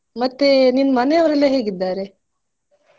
ಮತ್ತೆ ನಿನ್ನ್ ಮನೆಯವರೆಲ್ಲ ಹೇಗಿದ್ದಾರೆ.